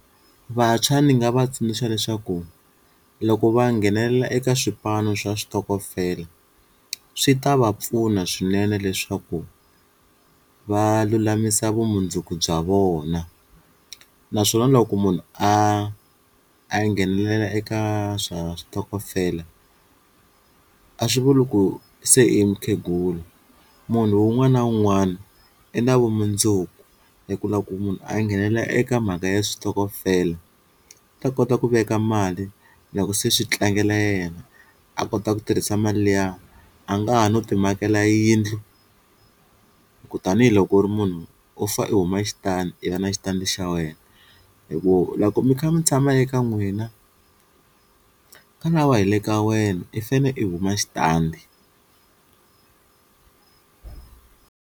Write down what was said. Vantshwa ni nga va tsundzuxa leswaku loko va nghenelela eka swipano swa switokofela swi ta va pfuna swinene leswaku va lulamisa vumundzuku bya vona naswona loko munhu a a nghenelela eka swa switokofela, a swi vuli ku se i mukhegula munhu un'wana na un'wana i na vumundzuku hi ku loko munhu a nghenelela eka mhaka ya switokofela u ta kota ku veka mali, loko se swi tlangela yena a kota ku tirhisa mali liya a nga ha no ti makela yindlu ku tanihiloko u ri munhu u fane u huma xitandi i va na xitandi xa wena hi ku loko mi kha mi tshama eka n'wina ani na wehe hi le ka wena i fane i kuma xitandi.